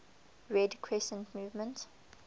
red crescent movement